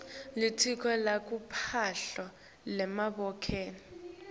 litiko letemphilo lavelonkhe